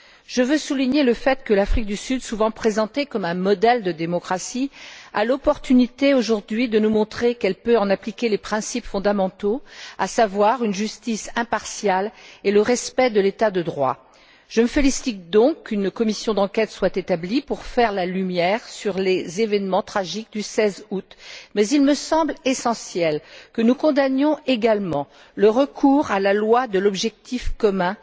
Je veux souligner le fait que l'Afrique du Sud, souvent présentée comme un modèle de démocratie, a l'occasion aujourd'hui de nous montrer qu'elle peut en appliquer les principes fondamentaux, à savoir une justice impartiale et le respect de l'état de droit. Je me félicite donc qu'une commission d'enquête soit établie pour faire la lumière sur les événements tragiques du 16 août, mais il me semble essentiel que nous condamnions également le recours à la loi de l'objectif commun,